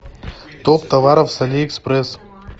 топ товаров с алиэкспресс